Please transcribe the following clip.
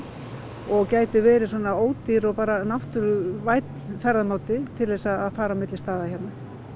og gæti verið ódýr og náttúruvænn ferðamáti til að fara á milli staða hérna